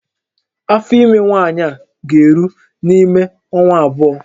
Afọ ime nwaanyị a ga-eru n'ime ọnwa abụọ